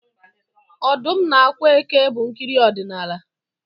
Ọdụm na ákwà eke bụ nkiri odinala